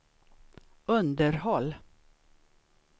underhåll